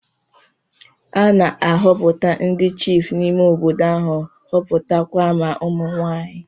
A na-ahọpụta ndị chiịfụ n'ime obodo ahụ, họpụta kwa ma ụmụ nwaanyị.